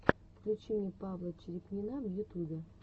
включи мне павла черепнина в ютубе